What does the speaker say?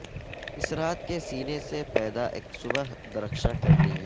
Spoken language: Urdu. اس رات کے سینے سے پیدا اک صبح درخشاں کرنی ہے